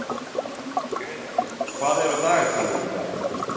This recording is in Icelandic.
Grétar, hvað er á dagatalinu í dag?